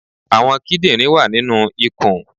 Àwọn kídìnrín wà nínu ikùn